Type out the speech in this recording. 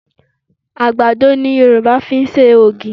Àgbàdo ni Yorùba fi ń ṣe ògì